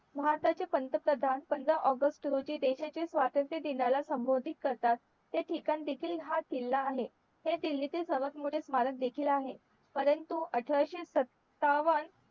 भारताचे पंतप्रधान पंधरा ऑगस्ट रोजी देशाच्या स्वातंत्र दिनाला संबोधीत करतात ते ठिकाण देखील हा किल्ला आहे हे दिल्लीतील सर्वात मोठे स्मारक देखील आहे परंतु अठराशे सत्तावन